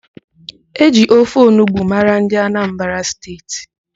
E ji ofe onugbo mara ndị Anambra State